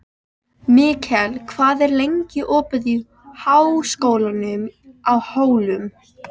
Mikkel, hvað er lengi opið í Háskólanum á Hólum?